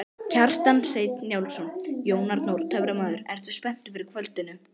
Kjartan Hreinn Njálsson: Jón Arnór töframaður, ertu spenntur fyrir kvöldinu?